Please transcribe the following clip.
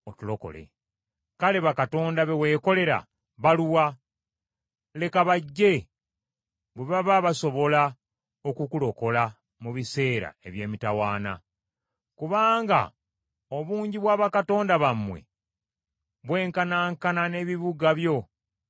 Kale bakatonda be weekolera baluwa? Leka bajje, bwe baba basobola okukulokola mu biseera eby’emitawaana. Kubanga obungi bwa bakatonda bammwe bwenkanankana n’ebibuga byo ggwe Yuda.